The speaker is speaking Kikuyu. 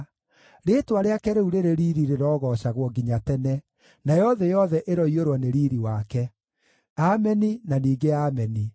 Rĩĩtwa rĩake rĩu rĩrĩ riiri rĩrogoocagwo nginya tene; nayo thĩ yothe ĩroiyũrwo nĩ riiri wake. Ameni, na ningĩ Ameni.